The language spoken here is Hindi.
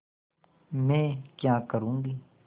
मैं क्या करूँगी